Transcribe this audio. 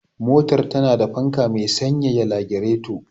Motar tana da fanka me sanyaya lagireto.